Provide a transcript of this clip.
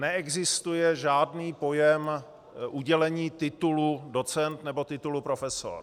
Neexistuje žádný pojem udělení titulu docent nebo titulu profesor.